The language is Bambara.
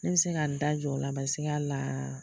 Ne bɛ se ka n da jɔ o la la